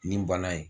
Nin bana in